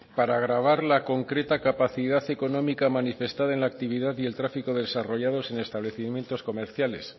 para gravar la concreta capacidad económica manifestada en la actividad y el tráfico desarrollados en establecimientos comerciales